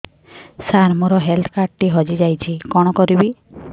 ସାର ମୋର health card ଟି ହଜି ଯାଇଛି କଣ କରିବି